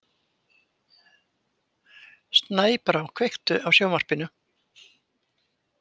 Snæbrá, kveiktu á sjónvarpinu.